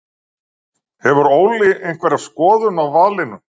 Hefur Óli einhverja skoðun á valinu?